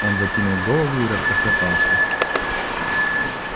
он закинул голову и расхохотался